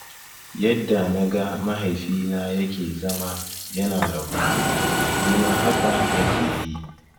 Yadda naga mahaifina yake zama yana rabon kuɗi, nima haka nake yi.